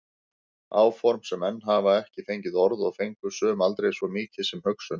Áform sem enn hafa ekki fengið orð og fengu sum aldrei svo mikið sem hugsun.